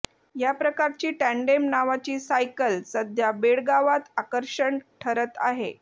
या प्रकारची टँडेम नावाची सायकल सध्या बेळगावात आकर्षण ठरत आहे